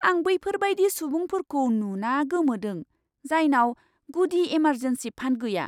आं बैफोरबायदि सुबुंफोरखौ नुमा गोमोदों, जायनाव गुदि एमारजेन्सि फान्ड गैया।